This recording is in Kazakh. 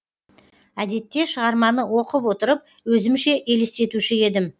әдетте шығарманы оқып отырып өзімше елестетуші едім